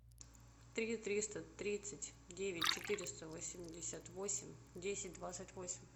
три триста тридцать девять четыреста восемьдесят восемь десять двадцать восемь